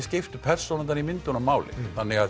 skiptu persónurnar í myndunum máli þannig að